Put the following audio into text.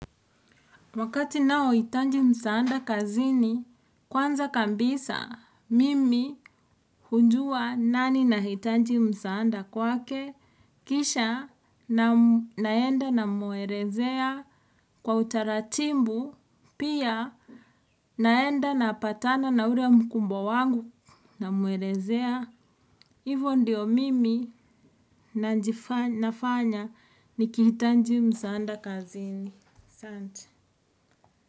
Wakati nao hitanji msaanda kazini, kwanza kambisa, mimi hujua nani na hitanji msaanda kwake, kisha naenda namuelezea kwa utaratimbu, pia naenda napatana na ule mkumbwa wangu namuelezea hivo ndi mimi nafanya nikihitanji msaanda kazini. Sante.